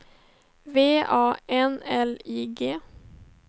V A N L I G